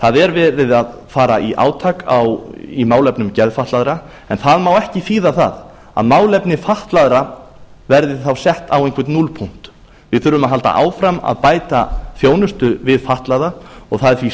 það er verið að fara í átak í málefnum geðfatlaðra en það má ekki þýða það að málefni fatlaðra verði þá sett á einhvern núllpunkt við þurfum að halda áfram að bæta þjónustu við fatlaða og það er því